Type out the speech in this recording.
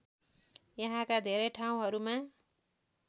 यहाँका धेरै ठाउँहरूमा